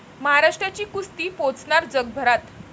महाराष्ट्राची कुस्ती पोचणार जगभरात